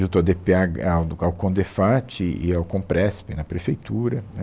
Juntou ao dê pê, agá, ao ao CONDEPHAAT e e ao Conpresp na prefeitura, né.